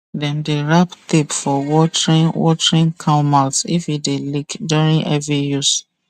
dem dey rap tape for watering watering can mouth if e dey leak during heavy use